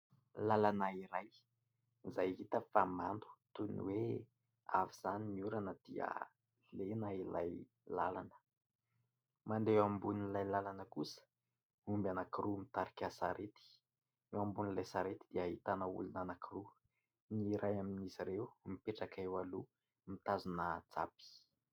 Lalana iray izay hita fa mando toy ny hoe avy izany ny orana dia lena ilay lalana mandeha eo ambon'ilay lalana. Ao kosa ny omby anankiroa mitarika sarety, eo ambon'ilay sarety dia hahitana olona anankiroa ny iray amin'izy ireo eo mipetraka, ny eo aloha mitazona zapy.